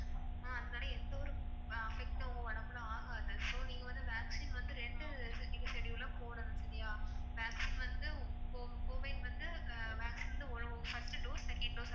அதனால எந்த ஒரு affect ம் உடம்புல ஆகாது. so நீங்க வந்து vaccine வந்து ரெண்டு schedule ல போடணும் சரியா. vaccine வந்து covid வந்து vaccine வந்து first dose, second dose